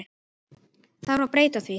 Þarf að breyta því?